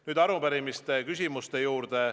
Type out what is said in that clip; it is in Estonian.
Nüüd arupärimise küsimuste juurde.